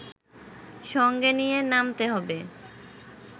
সঙ্গে নিয়ে নামতে হবে